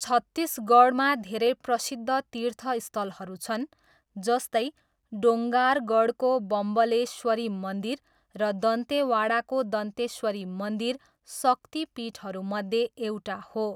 छत्तीसगढमा धेरै प्रसिद्ध तीर्थस्थलहरू छन्, जस्तै डोङ्गारगढको बम्बलेश्वरी मन्दिर र दान्तेवाडाको दन्तेश्वरी मन्दिर, शक्तिपीठहरूमध्ये एउटा हो।